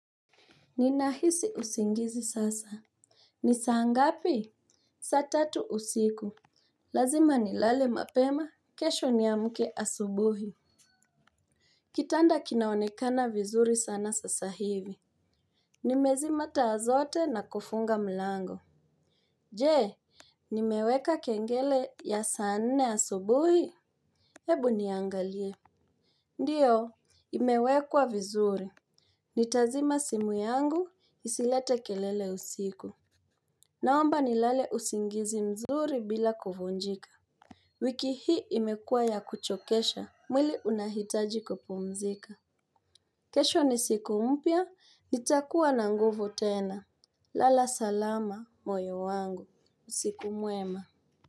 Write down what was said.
Ninahisi usingizi sasa. Ni saa ngapi? Saa tatu usiku. Lazima nilale mapema, kesho niamke asubuhi. Kitanda kinaonekana vizuri sana sasa hivi. Nimezima taa zote na kufunga mlango. Jee, nimeweka kengele ya saa nne asubuhi? Hebu niangalie. Ndiyo, imewekwa vizuri. Nitazima simu yangu, isilete kelele usiku. Naomba nilale usingizi mzuri bila kuvunjika. Wiki hii imekua ya kuchokesha, mwili unahitaji kupumzika. Kesho ni siku mpya, nitakuwa na nguvu tena. Lala salama moyo wangu, usiku mwema.